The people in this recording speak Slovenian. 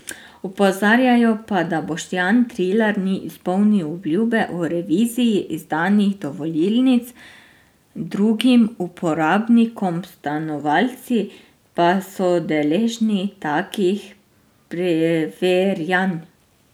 Opozarjajo pa, da Boštjan Trilar ni izpolnil obljube o reviziji izdanih dovolilnic drugim uporabnikom, stanovalci pa so deležni takih preverjanj.